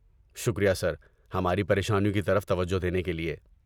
شکریہ سر، ہماری پریشانیوں کی طرف توجہ دینے کے لیے۔